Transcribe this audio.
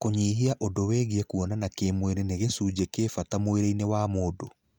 Kũnyihia, ũndũ wigie kuona kĩmwĩrĩ nĩ gĩcujĩ kĩ bata mwĩrĩinĩ wa mũndũ.